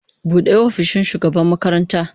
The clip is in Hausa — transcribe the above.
Bude opishin shugaban makaranta.